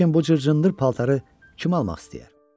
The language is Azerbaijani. lakin bu cır-cındır paltarı kim almaq istəyər?